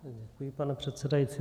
Děkuji, pane předsedající.